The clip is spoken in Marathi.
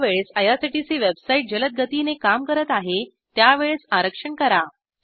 ज्यावेळेस आयआरसीटीसी वेबसाईट जलद गतीने काम करत आहे त्यावेळेस आरक्षण करा